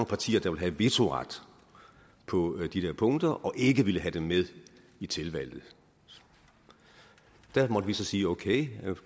partier der vil have vetoret på de der punkter og ikke ville have dem med i tilvalget der måtte vi så sige okay